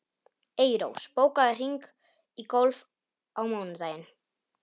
Eyrós, bókaðu hring í golf á mánudaginn.